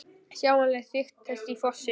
Sjáanleg þykkt þess í fossinum er